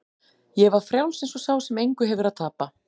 Ég var frjáls eins og sá sem engu hefur að tapa.